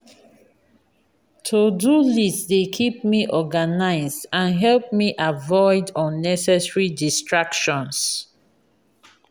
to-do list dey keep me organized and help me avoid unnecessary distractions.